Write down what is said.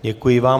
Děkuji vám.